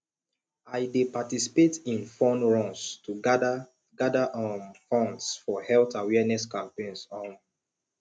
i dey participate in fun runs to gather gather um funds for health awareness campaigns um